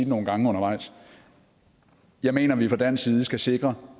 nogle gange undervejs jeg mener vi fra dansk side skal sikre